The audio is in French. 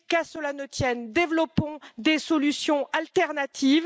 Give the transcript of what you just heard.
Qu'à cela ne tienne, développons des solutions alternatives.